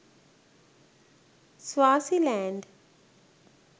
swasiland